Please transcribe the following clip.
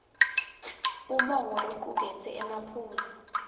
umongo locuketse emaphuzu